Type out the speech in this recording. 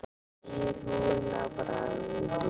spyr hún að bragði.